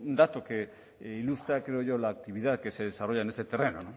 dato que ilustra creo yo la actividad que se desarrolla en este terreno